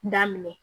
Daminɛ